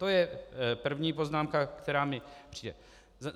To je první poznámka, která mi přijde.